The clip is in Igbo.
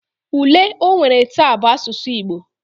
Ule onwere ta bu asusu Igbo